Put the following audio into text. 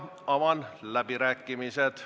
Avan läbirääkimised.